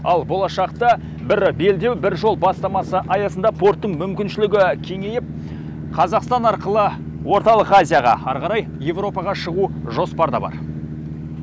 ал болашақта бір белдеу бір жол бастамасы аясында порттың мүмкіншілігі кеңейіп қазақстан арқылы орталық азияға ары қарай еуропаға шығу жоспарда бар